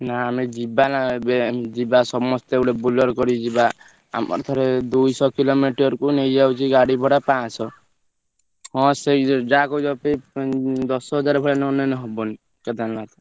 ନା ଆମେ ଯିବାନା ଏବେ ଉଁ ଯିବା ସମସ୍ତେ ଗୋଟେ Bolero କରି ଯିବା ଆମର ଥରେ ଦୁଇଶହ kilometre କୁ ନେଇଯାଉଛି ପାଞ୍ଚଶହ ହଁ ସେଇ ସେଇ ଯାହା କହୁଛ ଉଁ ଦଶହଜାରେ ଭଳିଆ ନନେଲେ ହବନି କେଦାରନାଥ।